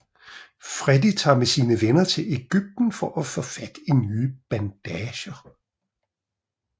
Freddy tager med sine venner til Egypten for at få fat i nye bandager